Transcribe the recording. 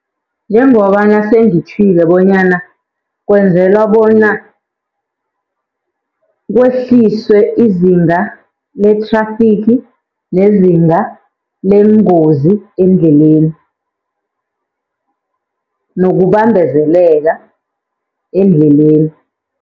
Njengobana sengitjhwile bonyana, kwenzelwa bona kwehliswe izinga lethrafigi nezinga leengozi eendleleni nokubambezeleka endleleni.